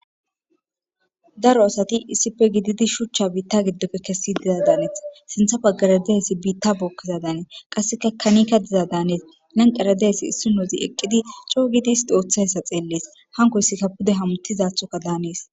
Daro asati issippe gididi shuchcha biittappe kesizadan hanes. Sinththa baggara dizayssi biitta bookkizayssadan hanees. Qassekka kanika dizadan hanes. Lanqqera dizayssi issinozi eqqidi coo giidi isti ooththiyayssa xeelles. Hankoyssikka pude hamutizaaththokka hanes.